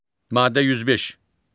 Maddə 105.